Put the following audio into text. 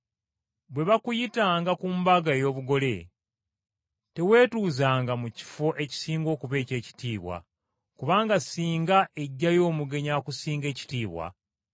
“Bwe bakuyitanga ku mbaga ey’obugole, teweetuuzanga mu kifo ekisinga okuba eky’ekitiibwa kubanga singa ejjayo omugenyi akusinga ekitiibwa,